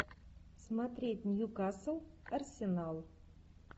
смотреть ньюкасл арсенал